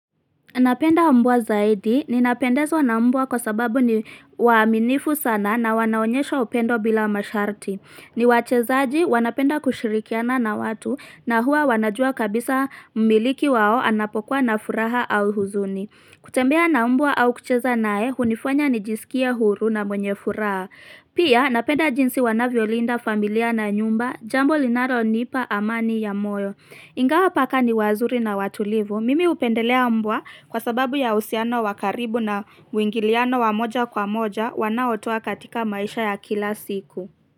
Napenda mbwa zaidi ninapendezwa na mbwa kwa sababu ni waaminifu sana na wanaonyesha upendo bila masharti. Ni wachezaji wanapenda kushirikiana na watu na huwa wanajua kabisa mumiliki wao anapokuwa na furaha au huzuni. Kutembea na mbwa au kucheza naye, hunifanya ni jisikia huru na mwenye furaha. Pia napenda jinsi wanavyolinda familia na nyumba, jambo linalonipa amani ya moyo. Ingawa paka ni wazuri na watulivu. Mimi hupendelea mbwa kwa sababu ya uhusiano wakaribu na mwingiliano wa moja kwa moja wanaotoa katika maisha ya kila siku.